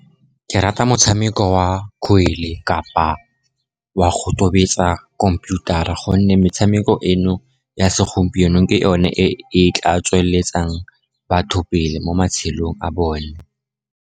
Ke rata motshameko wa kgwele kapa wa go tobetsa khomphuthara, gonne metshameko eno ya segompieno, ke yone e tla tsweletsang batho pele mo matshelong a bone.